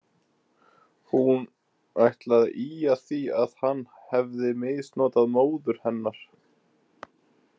Hún ætlaði að ýja að því að hann hefði misnotað móður hennar.